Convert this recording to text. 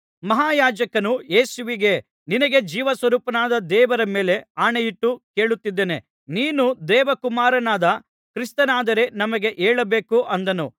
ಮಹಾಯಾಜಕನು ಯೇಸುವಿಗೆ ನಿನಗೆ ಜೀವಸ್ವರೂಪನಾದ ದೇವರ ಮೇಲೆ ಆಣೆಯಿಟ್ಟು ಕೇಳುತ್ತಿದ್ದಾನೆ ನೀನು ದೇವಕುಮಾರನಾದ ಕ್ರಿಸ್ತನಾದರೆ ನಮಗೆ ಹೇಳಬೇಕು ಅಂದನು